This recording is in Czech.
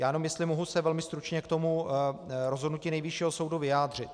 Já jenom jestli se můžu velmi stručně k tomu rozhodnutí Nejvyššího soudu vyjádřit.